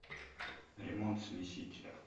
ремонт смесителя